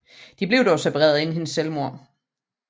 De blev dog separeret inden hendes selvmord